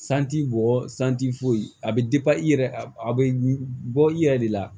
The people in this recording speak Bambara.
bɔ foyi a bɛ i yɛrɛ a bɛ bɔ i yɛrɛ de la